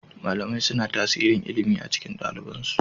Malamai suna tasirin ilimi a cikin ɗaliban su